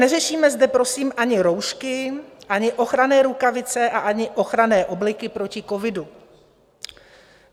Neřešíme zde prosím ani roušky, ani ochranné rukavice a ani ochranné obleky proti covidu.